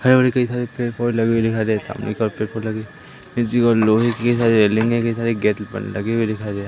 हरे भरे कई सारे पेड़ पौधे लगे हुए दिखाई दे सामने कई पेड़ पौधे लगे इसी और लोहे की सारी रेलिंग की गेट पे लगी हुई दिखाई दे--